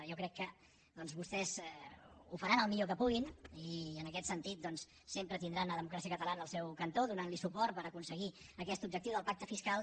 jo crec que vostès ho faran el millor que puguin i en aquest sentit sempre tindran democràcia catalana al seu cantó donant los suport per aconseguir aquest objectiu del pacte fiscal